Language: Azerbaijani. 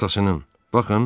Atasının.